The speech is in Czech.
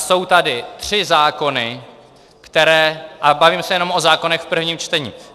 Jsou tady tři zákony, které - a bavíme se jenom o zákonech v prvním čtení.